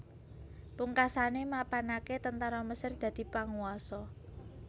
Pungkasane mapanake tentara Mesir dadi panguwasa